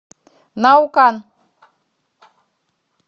наукан